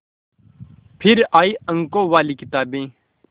फिर आई अंकों वाली किताबें